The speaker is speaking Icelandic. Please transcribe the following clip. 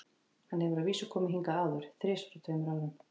Hann hefur að vísu komið hingað áður, þrisvar á tveimur árum.